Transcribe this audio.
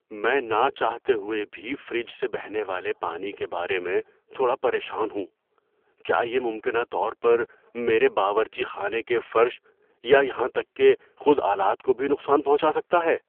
میں نہ چاہتے ہوئے بھی فریج سے بہنے والے پانی کے بارے میں تھوڑا پریشان ہوں – کیا یہ ممکنہ طور پر میرے باورچی خانے کے فرش یا یہاں تک کہ خود آلات کو بھی نقصان پہنچا سکتا ہے؟